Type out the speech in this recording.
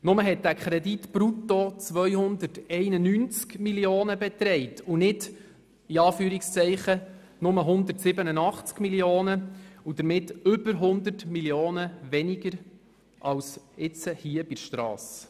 Nur betrug dieser Kredit brutto 291 Mio. Franken und nicht «nur» 187 Mio. Franken und somit über 100 Mio. Franken mehr als hier bei der Strasse.